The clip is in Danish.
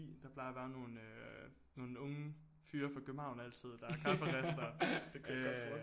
Der plejer at være nogle nogle unge nogle unge fyre fra København altid der er kafferistere